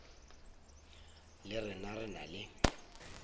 le rena re na le